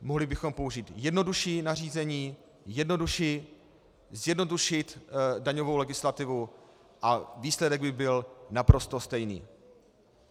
Mohli bychom použít jednodušší nařízení, zjednodušit daňovou legislativu, a výsledek by byl naprosto stejný.